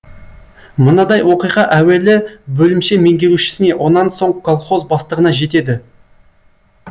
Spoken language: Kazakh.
мынадай оқиға әуелі бөлімше меңгерушісіне онан соң колхоз бастығына жетеді